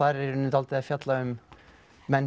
í rauninni dálítið að fjalla um mennskuna